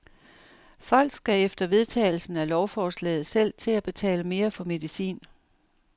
Folk skal efter vedtagelsen af lovforslaget selv til at betale mere for medicin.